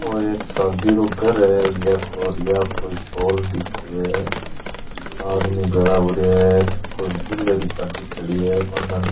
ओ एक शादी रो घर है या कोई हॉल दिख रो है आदमी भेळा हो रहा है कोई दूल्हे री गाड़ी खड़ी है बा कन --